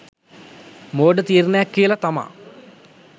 මෝඩ තීරණයක් කියල තමා .